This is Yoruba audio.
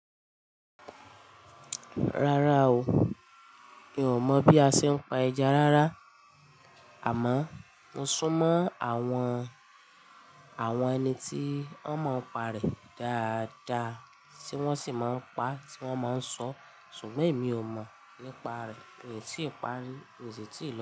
Rárá o, mi ò mọ̀ bí a ṣe ń pa ẹja rárá. Àmọ́ mo sún mọ́ àwọn, àwọn ẹni tí wọ́n mọ ìparí dáadáa tí wọ́n sì máa ń pa, tí wọ́n máa ń sọ. Ṣùgbọ́n èmi ò mọ̀ nípa rẹ̀, ym tí ìparí, èyí tí ìlọ̀rùkọ.